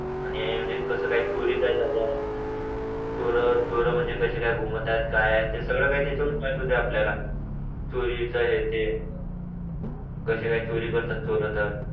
आणि म्हणजे कसं चोरी काय झाल्या चोर चोर म्हणजे कशी काय घुमतात काय ते सगळं काय त्याच्या वरूनच माहिती होतं ना चोरीचा हे ते कसे काय चोरी करतात चोर तर